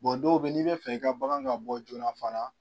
Bɔn dɔw be n'i be fɛ i ka bagan ka bɔ joona fana